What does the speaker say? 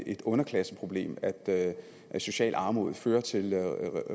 et underklasseproblem at at socialt armod fører til